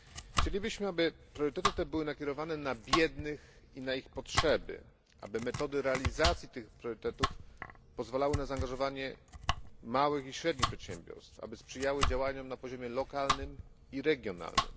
Chcielibyśmy, aby priorytety te były nakierowane na biednych i na ich potrzeby, aby metody realizacji tych priorytetów pozwalały na zaangażowanie małych i średnich przedsiębiorstw, aby sprzyjały działaniom na poziomie lokalnym i regionalnym.